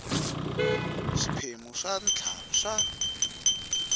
swiphemu swa ntlhanu swa